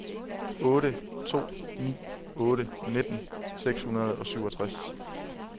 otte to ni otte nitten seks hundrede og syvogtres